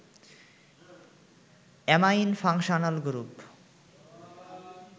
amine functional group